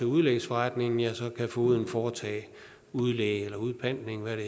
udlægsforretning ja så kan fogeden foretage udlæg eller udpantning hvad det